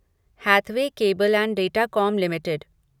Hathaway cable and Datacom limited